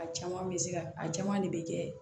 A caman bɛ se ka a caman de bɛ kɛ